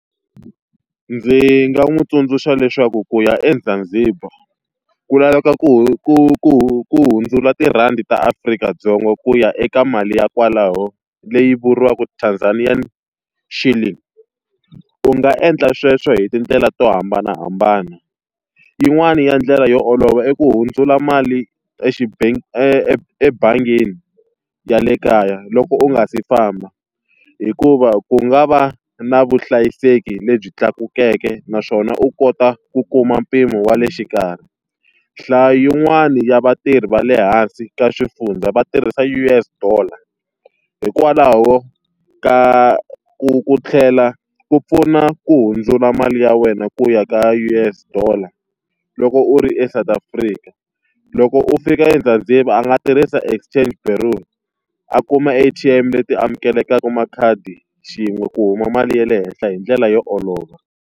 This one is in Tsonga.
Ndzi nga n'wi tsundzuxa leswaku ku ya eZanzibar ku laveka ku ku ku ku hundzula tirhandi ta Afrika-Dzonga ku ya eka mali ya kwalaho leyi vuriwaka Tanzanian Shilling. U nga endla sweswo hi tindlela to hambanahambana, yin'wana ya ndlela yo olova i ku hundzula mali ebangini ya le kaya loko u nga si famba. Hikuva ku nga va na vuhlayiseki lebyi tlakukeke naswona u kota ku kuma mpimo wa le xikarhi. Nhlayo yin'wani ya vatirhi va le hansi ka swifundza va tirhisa U_S dollar, hikwalaho ka ku ku tlhela ku pfuna ku hundzula mali ya wena ku ya ka U_S Dollar loko u ri eSouth Africa. Loko u fika eZanzibar a nga tirhisa exchange bureau, a kuma A_T_M leti amukelekaka makhadi xin'we ku huma mali ya le henhla hi ndlela yo olova.